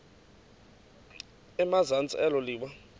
emazantsi elo liwa